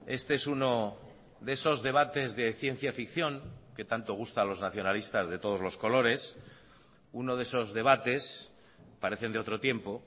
este es uno de esos debates de ciencia ficción que tanto gusta a los nacionalistas de todos los colores uno de esos debates parecen de otro tiempo